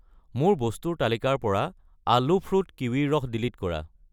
মোৰ বস্তুৰ তালিকাৰ পৰা আলো ফ্ৰুট কিৱিৰ ৰস ডিলিট কৰা।